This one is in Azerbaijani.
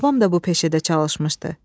Babam da bu peşədə çalışmışdı.